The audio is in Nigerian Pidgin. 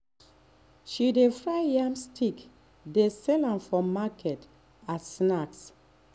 she dey fry yam stick dey sell am for market as snack.